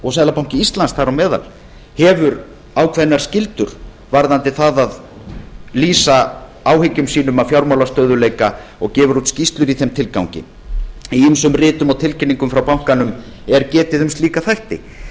og seðlabanki íslands þar á meðal hafa ákveðnar skyldur varðandi það að lýsa áhyggjum sínum af fjármálastöðugleika og gefur út skýrslur í þeim tilgangi í ýmsum ritum og tilkynningum frá bankanum er getið um slíka þætti